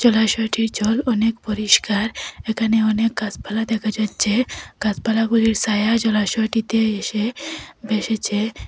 জলাশয়টির জল অনেক পরিষ্কার এখানে অনেক গাছপালা দেখা যাচ্চে গাছপালাগুলির সায়া জলাশয়টিতে এসে ভেসেছে।